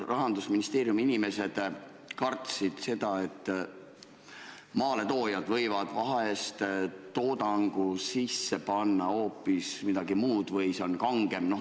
Rahandusministeeriumi inimesed kartsid seda, et maaletoojad võivad toodangu sisse panna hoopis midagi muud või see on kangem.